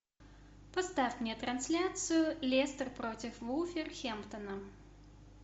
поставь мне трансляцию лестер против вулверхэмптона